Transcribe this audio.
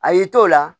A y'i to o la